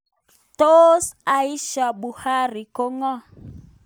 Tos Aisha Buhari ko ng'o?